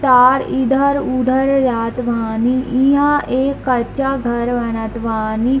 तार इधर-उधर जात बानी इहां एक कच्चा घर बनत बानी।